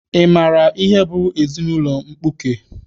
Ị maara ihe bụ ezinaụlọ mkpuke?